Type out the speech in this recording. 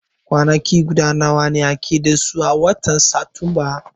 Kwanaki nawa ake da su a watan Satumba?